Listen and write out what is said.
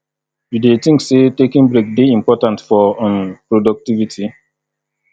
you dey think say taking break dey important for um productivity